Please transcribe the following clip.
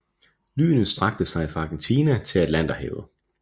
Lynet strakte sig fra Argentina til Atlanterhavet